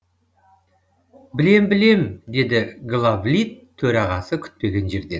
білем білем деді главлит төрағасы күтпеген жерден